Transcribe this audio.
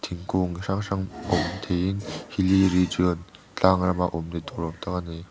thingkung hrang hrang awm theiin tlang rama awm ni tur awm tak a ni.